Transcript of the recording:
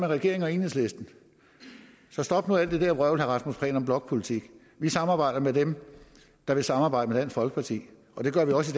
regeringen og enhedslisten så stop nu alt det der vrøvl om blokpolitik vi samarbejder med dem der vil samarbejde med folkeparti og det gør vi også